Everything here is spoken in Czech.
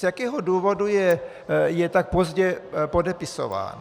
Z jakého důvodu je tak pozdě podepisován?